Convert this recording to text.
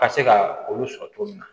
Ka se ka olu sɔrɔ cogo min na